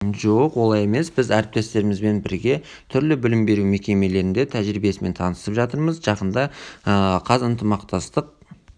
жоқ олай емес біз әріптестерімізбен бірге түрлі білім беру мекемелерінің тәжірибесімен танысып жатырмыз жақында қаз ынтымақтастық